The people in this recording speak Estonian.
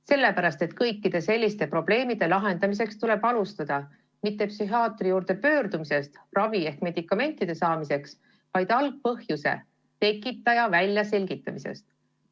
Sellepärast, et kõikide selliste probleemide lahendamist tuleb alustada mitte psühhiaatri juurde minekust, et saada ravi ehk medikamente, vaid algpõhjuse väljaselgitamisest.